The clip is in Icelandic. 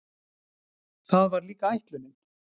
Það var líka ætlunin.